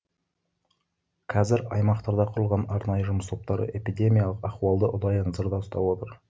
қазір аймақтарда құрылған арнайы жұмыс топтары эпидемиялық ахуалды ұдайы назарда ұстап отыр